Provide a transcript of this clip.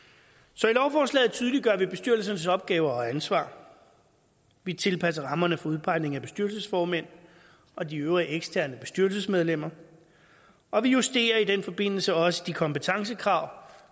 så i lovforslaget tydeliggør vi bestyrelsernes opgaver og ansvar vi tilpasser rammerne for udpegning af bestyrelsesformænd og de øvrige eksterne bestyrelsesmedlemmer og vi justerer i den forbindelse også de kompetencekrav